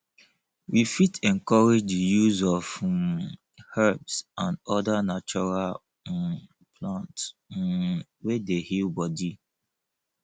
we fit encourage di use of um herbs and oda natural um plants um wey dey heal body